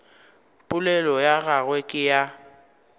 polelo ya gagwe ke ya